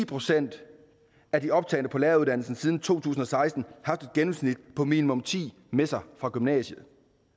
procent af de optagne på læreruddannelsen siden to tusind og seksten haft et gennemsnit på minimum ti med sig fra gymnasiet